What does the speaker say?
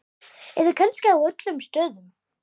Eða kannski á öllum stöðum?